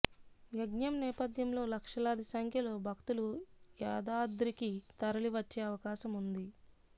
యజ్ఞం నేపథ్యంలో లక్షలాది సంఖ్యలో భక్తులు యాదాద్రికి తరలి వచ్చే అవకాశం ఉంది